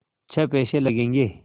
छः पैसे लगेंगे